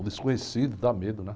O desconhecido dá medo, né?